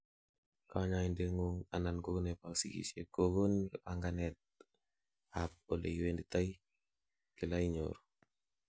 kanyoindet ngung anan ko nebo sigisiet kogonin panganet ab oleiwenditoi kila inyoru